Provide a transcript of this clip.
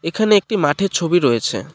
এখানে একটি মাঠের ছবি রয়েছে।